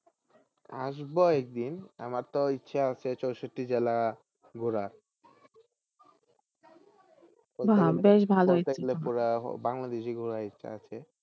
আসবো একদিন আমার তো ইচ্ছা আছে চৌষট্টি জেলা ঘুরার ঘুরার বাংলাদেশে ঘুরার ইচ্ছা আছে।